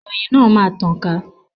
Ìròyìn náà máa tàn ká